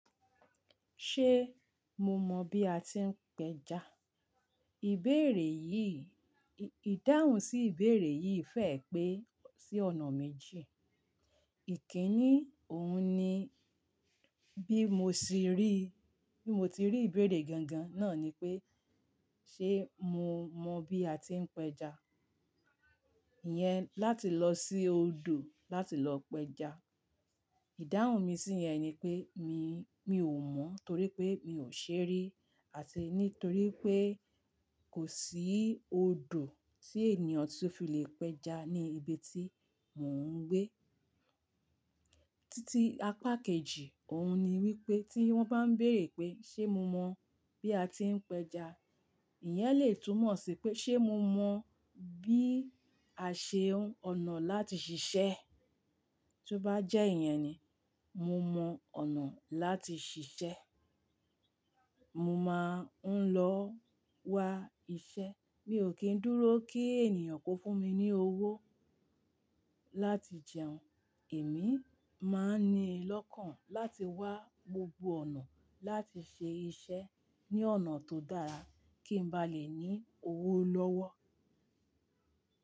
Ṣé mo mọ bí a ti ń péja? Ìbéèrè yìí, ìdáhùn sí ìbéèrè yìí fẹ́ẹ́ pé sí ọ̀nà méjì. Ìkíni òun ni bí mo ti rí, bí mo ti rí ìbéèrè gangan náà ni pé ṣé mo mọ bí a ti ń péja? Ìyẹn láti lọ sí odò láti lọ péja. Ìdáhùn mi sí yẹn ni pé mi, mi ò mọ torí pé mi ò ṣe rí àti nítorí pé kò sí odò tí ènìyàn tí ó fi lè péja ní ibi tí mò ń gbé. Títí apá kejì, òun ni wípé tí wón bá ń béèrè pé ṣé mo mọ bí a ti ń péja? Ìyẹn lè túmọ̀ sí pé ṣé mo mọ bí a ṣe ń ọ̀nà láti ṣiṣẹ́ tí ó bá jẹ́ iyẹn ni, mo mọ ọ̀nà láti ṣiṣẹ́. Mo máa ń lọ wa iṣẹ́. Mi ò kí ń dúró kí ènìyàn kó fún mi ní owó láti jẹun. Èmi máa ń ni lọ́kàn láti wá gbogbo ọ̀nà láti ṣe iṣẹ́ ní ọ̀nà tó dára kí n bá lè ní owó lọ́wọ́.